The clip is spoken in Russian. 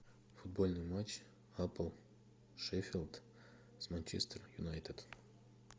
футбольный матч апл шеффилд с манчестер юнайтед